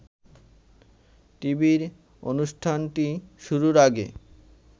টিভির অনুষ্ঠানটি শুরুর আগে